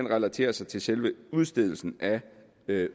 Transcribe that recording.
relaterer sig til selve udstedelsen af